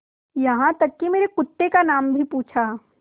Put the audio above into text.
यहाँ तक कि मेरे कुत्ते का नाम भी पूछा